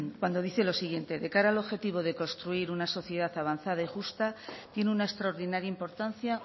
cuando dice lo siguiente de cara al objetivo de construir una sociedad avanzada y justa tiene una extraordinaria importancia